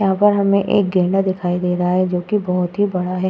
यहां पर हमें एक गेंडा दिखाई दे रहा है जो की बहुत ही बड़ा है।